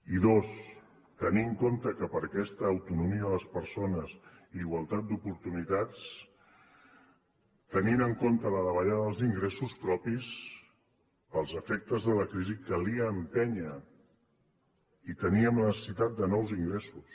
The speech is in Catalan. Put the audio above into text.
i dos tenir en compte que per a aquesta autonomia de les persones i igualtat d’oportunitats tenint en compte la davallada dels ingressos propis pels efectes de la crisi calia empènyer i teníem la necessitat de nous ingressos